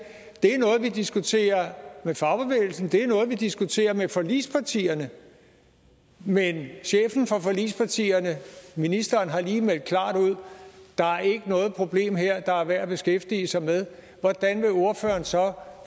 det er noget vi diskuterer med fagbevægelsen og at det er noget vi diskuterer med forligspartierne men chefen for forligspartierne ministeren har lige meldt klart ud at problem her der er værd at beskæftige sig med hvordan vil ordføreren så